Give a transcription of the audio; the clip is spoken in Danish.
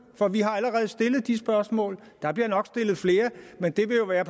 for vi har allerede stillet de spørgsmål der bliver nok stillet flere men det vil jo være